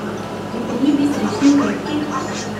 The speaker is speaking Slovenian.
Bi bili vi srečni v kletki?